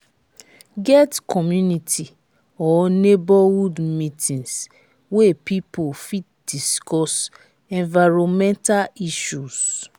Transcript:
get community or neigbourhood meetings wey pipo fit discuss environmental issues